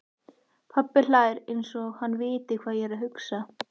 Pabbi hlær einsog hann viti hvað ég hugsa.